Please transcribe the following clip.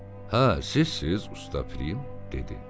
Hə, sizsiz usta Film, dedi.